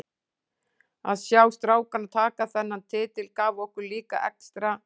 Að sjá strákana taka þennan titil gaf okkur líka extra.